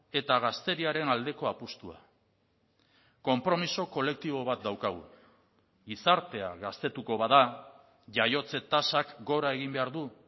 eta gazteriaren aldeko apustua konpromiso kolektibo bat daukagu gizartea gaztetuko bada jaiotze tasak gora egin behar du